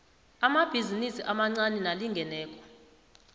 amabhizinisi amancani nalingeneko